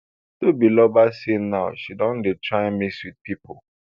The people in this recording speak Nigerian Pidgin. tobiloba say now she don dey try mix wit pipo